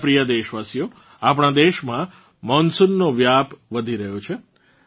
મારાં પ્રિય દેશવાસિઓ આપણાં દેશમાં મોનસૂનનો વ્યાપ વધી રહ્યો છે